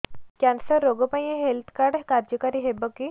cancer ରୋଗ ପାଇଁ ଏଇ ହେଲ୍ଥ କାର୍ଡ କାର୍ଯ୍ୟକାରି ହେବ କି